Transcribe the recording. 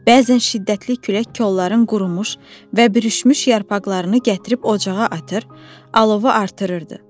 Bəzən şiddətli külək kolların qurumuş və bürüşmüş yarpaqlarını gətirib ocağa atır, alovu artırırdı.